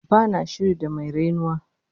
Ba na shiri da mai rainuwa